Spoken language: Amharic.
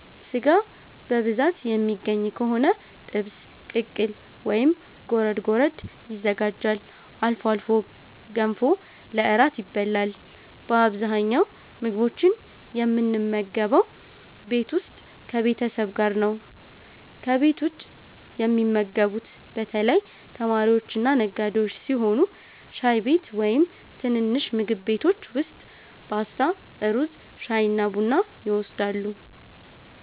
ሥጋ በብዛት የሚገኝ ከሆነ ጥብስ፣ ቅቅል ወይም ጎረድ ጎረድ ይዘጋጃል። አልፎ አልፎ ገንፎ ለእራት ይበላል። በአብዛኛው ምግቦችን የምንመገበው ቤት ውስጥ ከቤተሰብ ጋር ነው። ከቤት ውጭ የሚመገቡት በተለይ ተማሪዎችና ነጋዴዎች ሲሆኑ ሻይ ቤት ወይም ትንንሽ ምግብ ቤቶች ውስጥ ፓስታ፣ ሩዝ፣ ሻይና ቡና ይወስዳሉ።